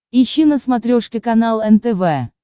ищи на смотрешке канал нтв